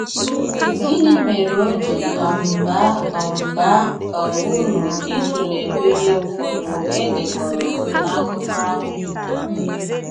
Gịnị mere o ji um bàá um bàá um uru ịtụlee èkpere ụfọdụ e dekọ̀rọ̀ n’akụkọ̀ ahụ?